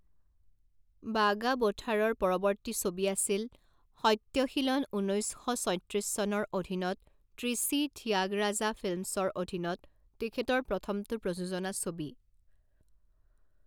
বাগাবথাৰৰ পৰৱৰ্তী ছবি আছিল সত্যশীলন ঊনৈছ শ ছয়ত্ৰিছ চনৰ অধীনত ট্ৰিচি থিয়াগৰাজা ফিল্মছৰ অধীনত তেখেতৰ প্ৰথমটো প্ৰযোজনা ছবি।